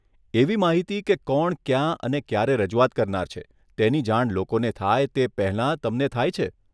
એવી માહિતી કે કોણ ક્યાં અને ક્યારે રજૂઆત કરનાર છે, તેની જાણ લોકોને થાય તે પહેલાં તમને થાય છે?